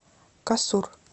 касур